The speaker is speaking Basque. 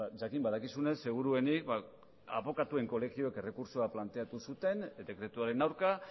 jakin badakizunez seguruenik abokatuen kolegioek errekurtsoa planteatu zuten dekretuaren aurka